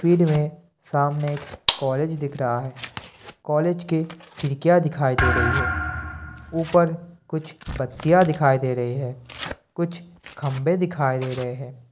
Feed में सामने एक कॉलेज दिख रहा है कॉलेज के खिड़कियां दिखाई दे रही है ऊपर कुछ बत्तियां दिखाई दे रही हैं कुछ खंभे दिखाई दे रहे हैं।